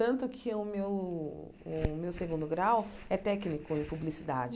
Tanto que o meu o meu segundo grau é técnico em publicidade.